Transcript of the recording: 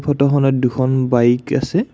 ফটোখনত দুখন বাইক আছে।